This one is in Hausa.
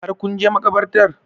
Har kun je makabartar?